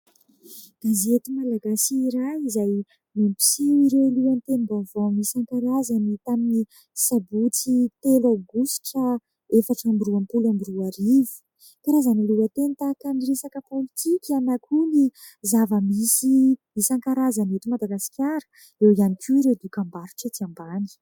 Gazety malagasy iray izay mampiseho ireo lohatenim-baovao isan-karazany tamin'ny sabotsy telo aogositra efatra amby roapolo amby roarivo. Karazana lohateny tahaka ny resaka pôlitika na koa ny zava-misy isan-karazany eto Madagasikara eo ihany koa ireo dokam-barotra etsy ambany.